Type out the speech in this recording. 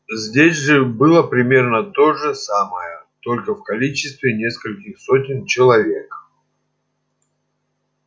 здесь же было примерно то же самое только в количестве нескольких сотен человек